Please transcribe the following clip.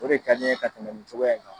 O de ka di n ye ka tɛmɛ nin cogoya in kan.